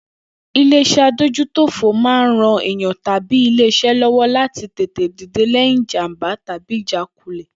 Ilé is̩é̩ adójútòfò máa ń ran èèyan tàbí ilé is̩é̩ ló̩wó̩ láti tètè dìde lé̩yìn ìjàm̀bá tàbí ìjákulè̩